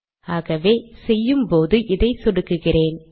ஆகவே செய்யும் போது இதை சொடுக்குகிறேன்